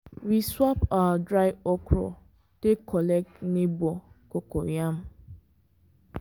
for our farming tradition to share harvest harvest na both culture and spiritual thing.